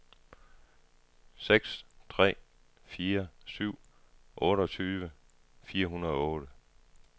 seks tre fire syv otteogtyve fire hundrede og otte